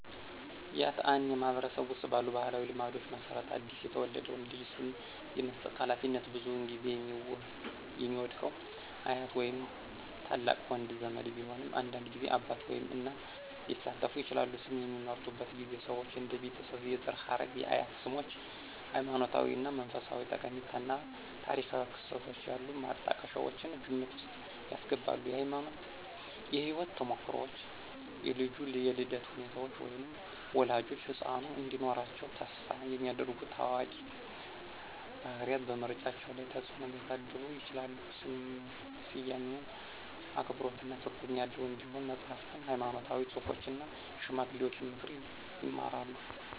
ያትአኔ ማህበረሰብ ውስጥ ባሉ ባህላዊ ልማዶች መሰረት አዲስ የተወለደውን ልጅ ስም የመስጠት ሃላፊነት ብዙውን ጊዜ የሚወድቀው አያት ወይም ታላቅ ወንድ ዘመድ ቢሆንም አንዳንድ ጊዜ አባት ወይም እናት ሊሳተፉ ይችላሉ። ስም በሚመርጡበት ጊዜ ሰዎች እንደ የቤተሰብ የዘር ሐረግ፣ የአያት ስሞች፣ ሃይማኖታዊ ወይም መንፈሳዊ ጠቀሜታ እና ታሪካዊ ክስተቶች ያሉ ማጣቀሻዎችን ግምት ውስጥ ያስገባሉ። የህይወት ተሞክሮዎች, የልጁ የልደት ሁኔታዎች, ወይም ወላጆች ህጻኑ እንዲኖራቸው ተስፋ የሚያደርጉ ታዋቂ ባህሪያት በምርጫው ላይ ተጽእኖ ሊያሳድሩ ይችላሉ. ስያሜው አክብሮትና ትርጉም ያለው እንዲሆን መጽሐፍትን፣ ሃይማኖታዊ ጽሑፎችን እና የሽማግሌዎችን ምክር ይማራሉ።